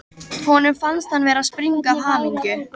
Honum fannst hann vera að springa af hamingju.